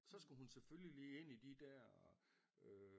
Så skulle hun selvfølgelig lige ind i de dér øh